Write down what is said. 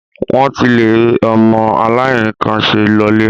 Wọ́n ti le ọmọ aláìníkànṣe lọlé.